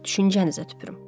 Düşüncənizə tüpürüm.